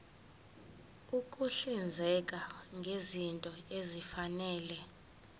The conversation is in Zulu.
ukuhlinzeka ngezinto ezifanele